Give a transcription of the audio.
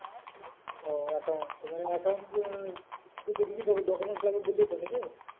ও account তো মানে account document লাগবে বললি তো নাকি?